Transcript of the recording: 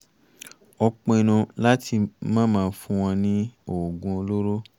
ó pinnu láti máma fún wọn ní oògùn olóró